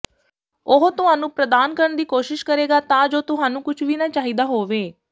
ਉਹ ਤੁਹਾਨੂੰ ਪ੍ਰਦਾਨ ਕਰਨ ਦੀ ਕੋਸ਼ਿਸ਼ ਕਰੇਗਾ ਤਾਂ ਜੋ ਤੁਹਾਨੂੰ ਕੁਝ ਵੀ ਨਾ ਚਾਹੀਦਾ ਹੋਵੇ